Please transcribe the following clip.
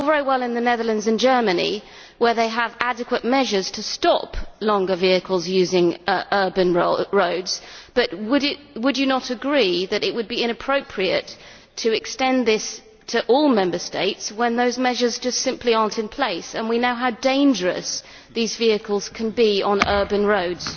It is all very well in the Netherlands and Germany where they have adequate measures to stop longer vehicles using urban roads, but would you not agree that it would be inappropriate to extend this to all Member States when those measures simply are not in place and we know how dangerous these vehicles can be on urban roads?